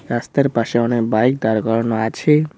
রাস্তার পাশে অনেক বাইক দরকার আছে।